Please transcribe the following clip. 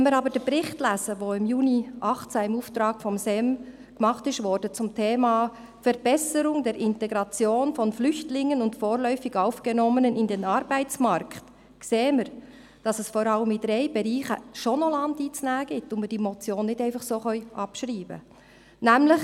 Wenn wir aber den Bericht lesen, welcher im Juni 2018 im Auftrag des SEM zum Thema «Verbesserung der Integration von Flüchtlingen und vorläufig Aufgenommenen in den Arbeitsmarkt» erstellt wurde, sehen wir, dass es vor allem in drei Bereichen noch Land einzunehmen gibt und wir die Motion nicht einfach so abschreiben können: